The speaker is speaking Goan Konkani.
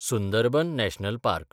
Sundarban national park